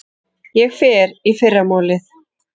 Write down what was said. Ég fer í fyrramálið.